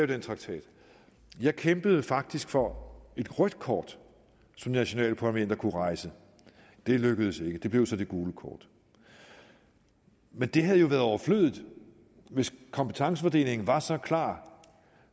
den traktat jeg kæmpede faktisk for et rødt kort som nationalstaterne kunne rejse det lykkedes ikke det blev så det gule kort men det havde jo været overflødigt hvis kompetencefordelingen var så klar